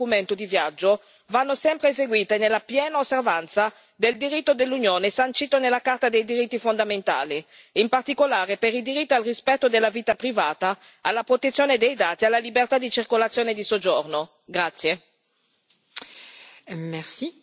L'accertamento dell'identità e della validità del documento di viaggio va sempre eseguito nella piena osservanza del diritto dell'Unione sancito nella Carta dei diritti fondamentali, in particolare per i diritti al rispetto della vita privata, alla protezione dei dati e alla libertà di circolazione e di soggiorno.